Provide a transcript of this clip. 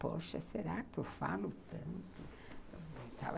Poxa, será que eu falo tanto?